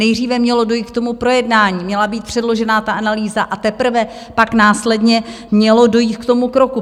Nejdříve mělo dojít k tomu projednání, měla být předložena ta analýza, a teprve pak následně mělo dojít k tomu kroku.